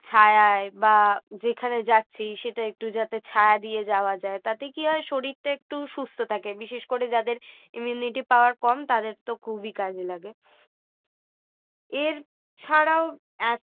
ছায়ায় বা যেখানে যাচ্ছি সেটা একটু যাতে ছায়া দিয়ে যাওয়া যায় তাতে কি হয় শরীরটা একটু সুস্থ থাকে বিশেষ করে যাদের immunity power কম তাদের তো খুবই কাজে লাগে এর ছাড়াও এত